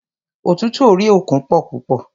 Ọ̀tútù orí òkun pọ púpọ̀.